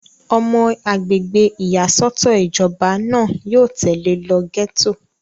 ọmọ agbègbè ìyàsọ́tọ̀ ìjọba náà yóò tẹ̀lé lọ gẹ́tò